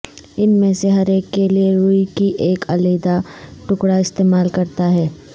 ان میں سے ہر ایک کے لئے روئی کی ایک علیحدہ ٹکڑا استعمال کرتا ہے